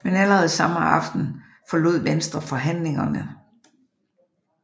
Men allerede samme aften forlod Venstre forhandlingerne